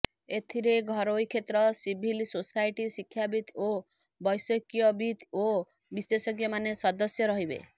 ଏଥିରେ ଘରୋଇ କ୍ଷେତ୍ର ସିଭିଲ୍ ସୋସାଇଟ୍ ଶିକ୍ଷାବିତ୍ ଓ ବୈଷୟିକବିତ୍ ଓ ବିଶେଷଜ୍ଞମାନେ ସଦସ୍ୟ ରହିବେ